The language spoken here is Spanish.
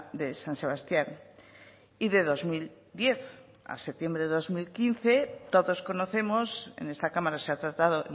de san sebastián y de dos mil diez a septiembre de dos mil quince todos conocemos en esta cámara se ha tratado